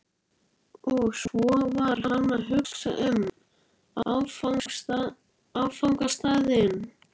Og svo var hann að hugsa um áfangastaðinn.